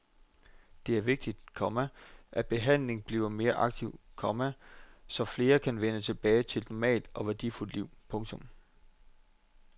Det er vigtigt, komma at behandlingen bliver mere aktiv, komma så flere kan vende tilbage til et normalt og værdifuldt liv. punktum